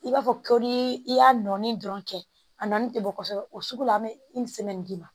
I b'a fɔ ko ni i y'a nɔɔni dɔrɔn kɛ a nɔnni tɛ bɔ kosɛbɛ o sugu la an bɛ d'i ma